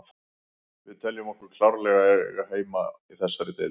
Við teljum okkur klárlega eiga heima í þessari deild.